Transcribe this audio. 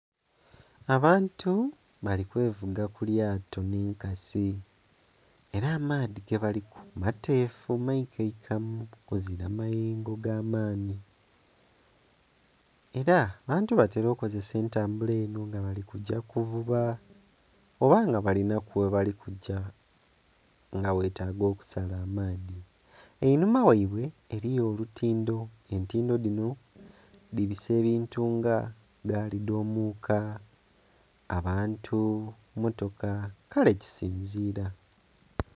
Abantu bali kwevuga ku lyato nh'enkasi, era amaadhi gebaliku mateefu maikaikamu kuzira mayengo ga maanhi. Era abantu batera okozesa entambula eno nga bali kugya kuvuba oba nga balinaku ghebali kugya, nga ghetaaga okusala amaadhi. Einhuma ghaibwe eliyo olutindo, entindo dhino dhibisa ebintu nga gaali dh'omuuka, abantu, mmotoka...kale kisinzira.